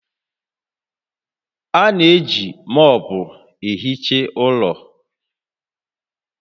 A na-eji mọọpụ ehicha ụlọ